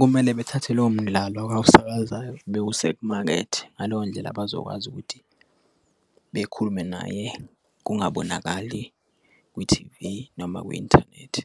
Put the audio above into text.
Kumele bethathe lowo mdlalo awusakazayo bewuse kumakethi ngaleyo ndlela bazokwazi ukuthi bekhulume naye kungabonakali kwi-T_V, noma kwi-inthanethi